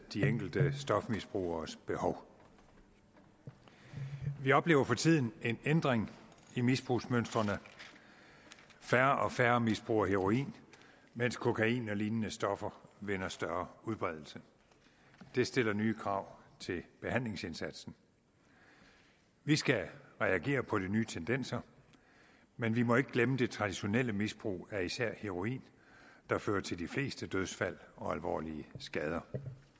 de enkelte stofmisbrugeres behov vi oplever for tiden en ændring i misbrugsmønstrene færre og færre misbruger heroin mens kokain og lignende stoffer vinder større udbredelse det stiller nye krav til behandlingsindsatsen vi skal reagere på de nye tendenser men vi må ikke glemme det traditionelle misbrug af især heroin der fører til de fleste dødsfald og alvorlige skader